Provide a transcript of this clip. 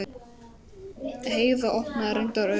Heiða opnaði reyndar augun.